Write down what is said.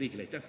Aitäh!